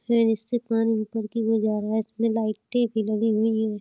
इ समे से पानी निकलते हुए जा रहा है। इसमें लइटें भी लगी हुई है ।